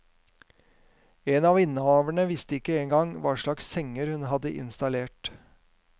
En av innehaverne visste ikke engang hva slags senger hun hadde installert.